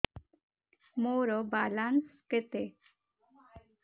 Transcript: ମୋର ବାଲାନ୍ସ କେତେ